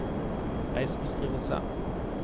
reisebeskrivelse